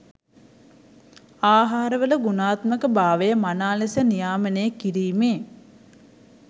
ආහාරවල ගුණාත්මක භාවය මනා ලෙස නියාමනය කිරීමේ